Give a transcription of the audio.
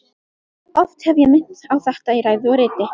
Oft hef ég minnt á þetta í ræðu og riti.